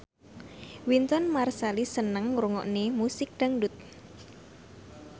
Wynton Marsalis seneng ngrungokne musik dangdut